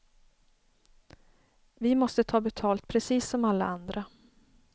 Vi måste ta betalt precis som alla andra.